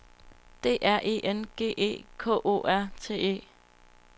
D R E N G E K O R T E